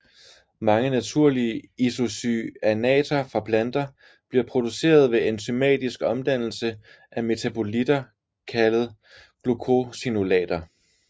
Mange naturlige isocyanater fra planter bliver produceret ved enzymatisk omdannelse af metabolitter kaldet glucosinolater